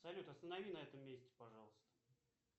салют останови на этом месте пожалуйста